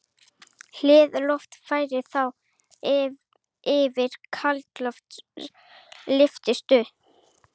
Hlýja loftið flæðir þá yfir kaldara loft og lyftist upp.